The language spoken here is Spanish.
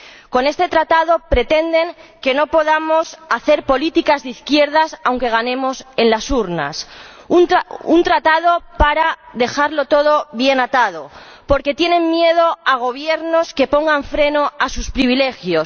Con este tratado pretenden que no podamos hacer políticas de izquierdas aunque ganemos en las urnas. Un tratado para dejarlo todo bien atado, porque tienen miedo a gobiernos que pongan freno a sus privilegios.